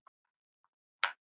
Bless mamma mín.